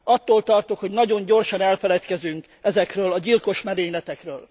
Attól tartok, hogy nagyon gyorsan elfeledkezünk ezekről a gyilkos merényletekről.